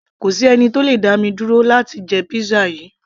kò sí ẹni tó le dá mi dúró láti jẹ pizza yìí